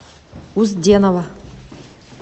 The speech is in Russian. узденова